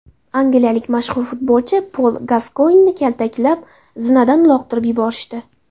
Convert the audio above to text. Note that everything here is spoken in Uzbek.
Angliyalik mashhur futbolchi Pol Gaskoynni kaltaklab, zinadan uloqtirib yuborishdi.